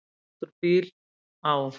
Stíg út úr bíl, á.